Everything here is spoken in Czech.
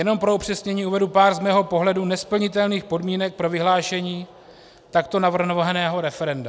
Jenom pro upřesnění uvedu pár z mého pohledu nesplnitelných podmínek pro vyhlášení takto navrhovaného referenda.